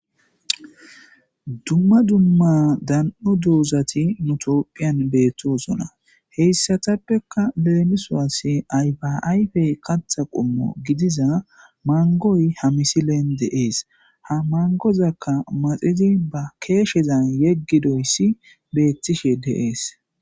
Dumma dumma dan7o doozathi nu toophphiyan beeththoosona; heyssathappekka leemisuwaassi ayfaa ayfee katha qommo gidiza manggoy ha misleen de7ees; ha manggozakka maxidi ba keeshezan yeggizoyssi beeththishee de7ees.